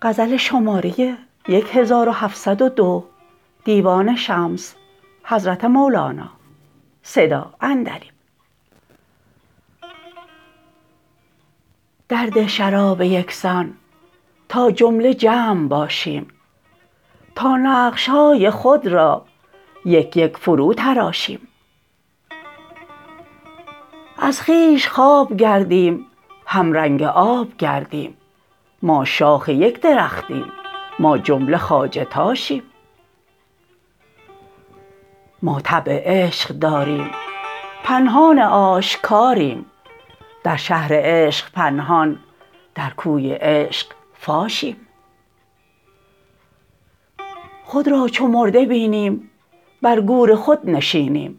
درده شراب یک سان تا جمله جمع باشیم تا نقش های خود را یک یک فروتراشیم از خویش خواب گردیم همرنگ آب گردیم ما شاخ یک درختیم ما جمله خواجه تاشیم ما طبع عشق داریم پنهان آشکاریم در شهر عشق پنهان در کوی عشق فاشیم خود را چو مرده بینیم بر گور خود نشینیم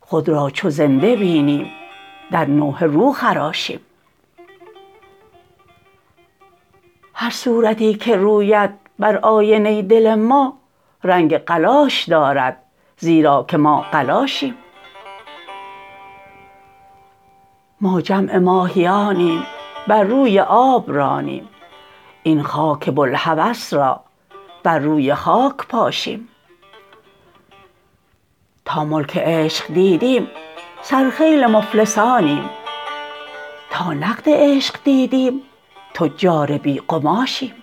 خود را چو زنده بینیم در نوحه رو خراشیم هر صورتی که روید بر آینه دل ما رنگ قلاش دارد زیرا که ما قلاشیم ما جمع ماهیانیم بر روی آب رانیم این خاک بوالهوس را بر روی خاک پاشیم تا ملک عشق دیدیم سرخیل مفلسانیم تا نقد عشق دیدیم تجار بی قماشیم